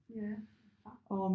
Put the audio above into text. Ja fra